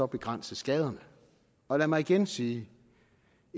begrænse skaderne og lad mig igen sige